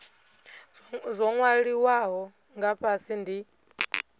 zwo nwaliwaho nga fhasi ndi